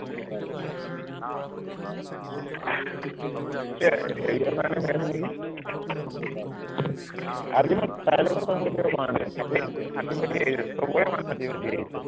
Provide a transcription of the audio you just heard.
সেইয়াই হেৰিঅৰ কাৰণে হৈ আছে নিকি ultimate কাৰো লগতো কথা পাতিব পৰা নাই ফাটি ফাটি, ফাটি ফাটি আহি আছে, সৱৰে মাত ফাটি ফাটি আহিছে